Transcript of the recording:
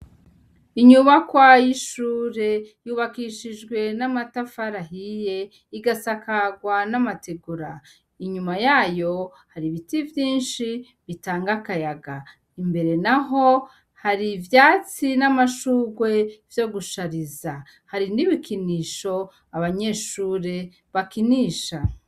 Inyubakwa y' ishure yubakishijwe n' amatafari ahiye igasakazwa n' amategura inyuma yayo hari ibiti vyinshi bitanga akayaga imbere naho hari ivyatsi n' amashugwe vyo gushariza hari n' ibikinisho abanyeshure bakinisha.